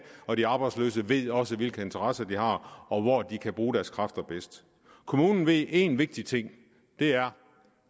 og de arbejdsløse ved også hvilke interesser de har og hvor de kan bruge deres kræfter bedst kommunen ved en vigtig ting og det er